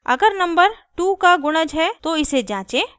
अगर नंबर 2 का गुणज है तो इसे जाँचें